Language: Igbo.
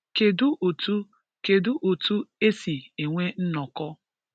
Kedu otu Kedu otu e si enwe nnọkọ?